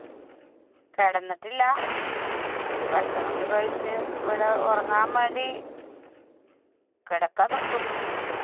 കിടന്നിട്ടില്ല. ഭക്ഷണം ഒക്കെ കഴിച്ച് ഇവിടെ ഉറങ്ങാൻ വേണ്ടി കിടക്കാൻ നോക്കുന്നു.